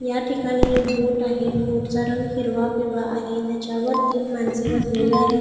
या ठिकाणी एक बोट आहे बोटचा रंग हिरवा पिवळा आहे त्याच्यावर तीन माणसे बसलेली आहेत.